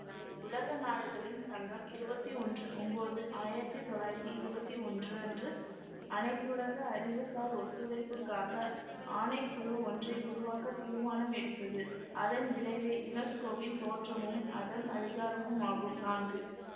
உலக நாடுகளின் சங்கம் இருவத்தி ஒன்று ஒன்போது ஆயிரத்தி தொள்ளாயிரத்தி இருவத்தி ஒன்று அன்று அனைத்துலக அறிவுசார் ஒத்துழைப்புக்காக ஆணை குழு ஒன்றை உருவாக்க தீர்மானம் எடுத்ததுஅதன் விளைவே யுனெஸ்கோவின் தோற்றமும் அதன் அதிகாரமும் ஆகும் நான்கு